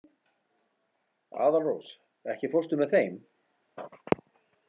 Aðalrós, ekki fórstu með þeim?